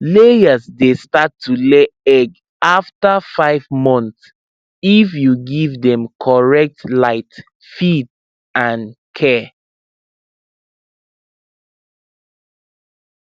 layers dey start to lay egg after five months if you give dem correct light feed and care